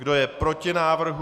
Kdo je proti návrhu?